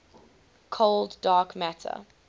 cold dark matter